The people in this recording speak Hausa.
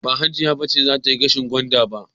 Ba Hajiya ce za ta yi dashen gwanda ba.